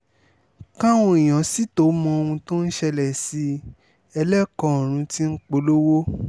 káwọn èèyàn sì tóó mọ ohun tó ń ṣẹlẹ̀ sí i ẹlẹ́kọ ọ̀run ti polówó